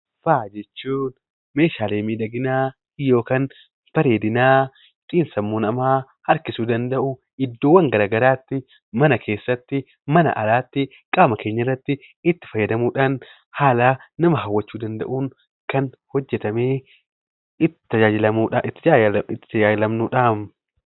Faaya jechuun meeshaalee miidhaginaa bareedinaa ittiin sammuu namaa harkisuu danda'u iddoowwan garaagaraa mana keessatti mana alatti qaama keenyarratti haala nama hawwachuu danda'uun kan hojjatamee itti tajaajilamnudha.